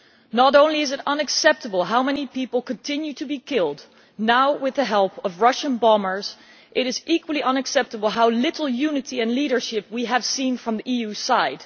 Not only is it unacceptable how many people continue to be killed now with the help of Russian bombers but it is equally unacceptable how little unity and leadership we have seen from the EU side.